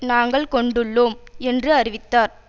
நாங்கள் கொண்டுள்ளோம் என்று அறிவித்தார்